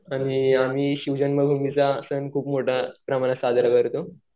आणि आम्ही शिवजन्मभूमीचा खूप मोठा साजरा करतो.